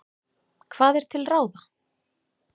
Hvað er til ráða?